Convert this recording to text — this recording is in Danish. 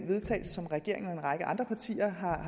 vedtagelse som regeringen og en række andre partier har